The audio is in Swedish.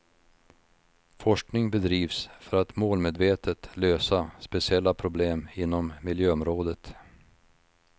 Forskning bedrivs för att målmedvetet lösa speciella problem inom miljöområdet.